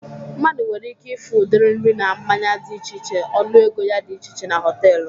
Mmadụ nwere ike ịfụ udiri nri na mmanya dị iche iche ọnụ ego ya dị iche iche na họtelu